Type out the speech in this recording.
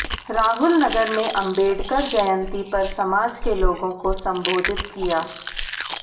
राहुल नगर में अंबेडकर जयंती पर समाज के लोगों को संबोधित किया